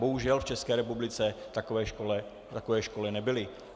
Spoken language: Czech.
Bohužel v České republice takové školy nebyly.